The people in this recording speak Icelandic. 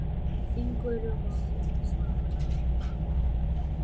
Þín Guðrún Svava.